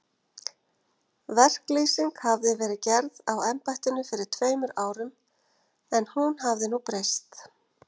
Verklýsing hafi verið gerð á embættinu fyrir tveimur árum, en hún hafi nú breyst.